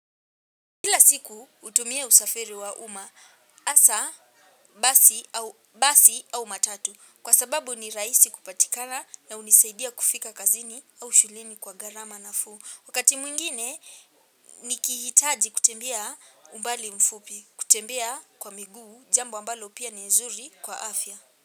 Kila siku hutumia usafiri wa umaa hasaa basi basi au matatu kwa sababu ni rahisi kupatikana na hunisaidia kufika kazini au shuleni kwa gharama nafuu. Wakati mwingine nikihitaji kutembea umbali mfupi kutembea kwa miguu jambo ambalo pia nzuri kwa afya.